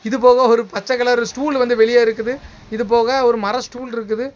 இது போக ஒரு பச்சை கலர் ஸ்டூல் வந்து வெளியே இருக்குது இது போக ஒரு மர ஸ்டூல் இருக்குது.